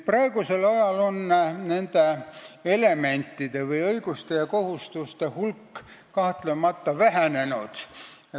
Praegusel ajal on nende elementide, õiguste ja kohustuste hulk kahtlemata vähenenud.